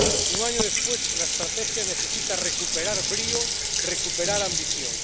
Un año después la estrategia necesita recuperar brío, recuperar ambición.